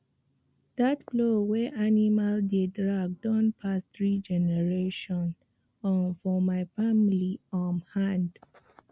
that plow wey animal dey drag don pass three generation um for my family um hand